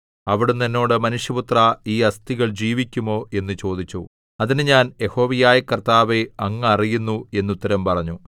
അവിടുന്ന് എന്നോട് മനുഷ്യപുത്രാ ഈ അസ്ഥികൾ ജീവിക്കുമോ എന്നു ചോദിച്ചു അതിന് ഞാൻ യഹോവയായ കർത്താവേ അങ്ങ് അറിയുന്നു എന്നുത്തരം പറഞ്ഞു